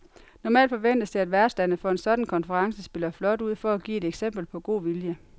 Normalt forventes det, at værtslandet for en sådan konference spiller flot ud, for at give et eksempel på god vilje.